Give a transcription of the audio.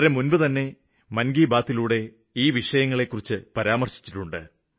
വളരെ മുമ്പേതന്നെ ഈ വിഷയങ്ങളെക്കുറിച്ച് പരാമര്ശിച്ചുകഴിഞ്ഞു